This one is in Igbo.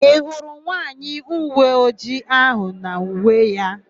Ị hụrụ nwaanyị uweojii áhụ̀ n'uwe ya?